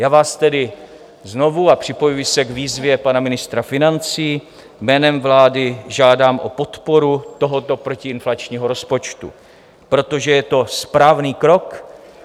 Já vás tedy znovu, a připojuji se k výzvě pana ministra financí, jménem vlády žádám o podporu tohoto protiinflačního rozpočtu, protože je to správný krok.